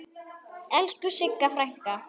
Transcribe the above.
Elsku Sigga frænka.